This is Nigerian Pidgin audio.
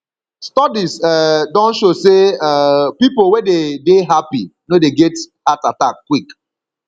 studies um don show sey um pipo wey de dey happy no dey get heart attack quick